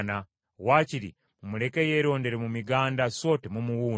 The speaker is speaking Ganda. Wakiri, mumuleke yerondere mu miganda so temumuwuuna.”